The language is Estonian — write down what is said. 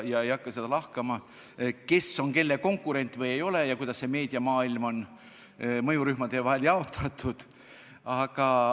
Ma ei hakka lahkama, kes on kelle konkurent või ei ole ja kuidas on meediamaailm mõjurühmade vahel jaotatud.